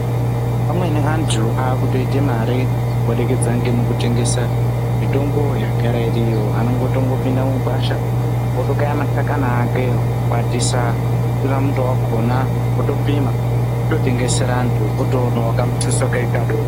Amweni antu akutoita mare kubudikidza ngemukutengesa mitombo yagara iriyo, anotongopinda mugwasha otokaya mashakani akewo otokwatisa otora muto wakona otopima ototengesera antu otoonawo kamutuso kake kadoko